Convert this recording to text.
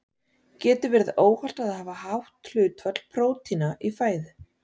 Getur verið óhollt að hafa hátt hlutfall prótína í fæðu?